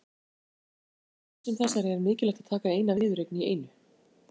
En í keppni sem þessari er mikilvægt að taka eina viðureign í einu.